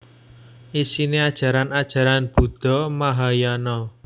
Isine ajaran ajaran Buddha Mahayana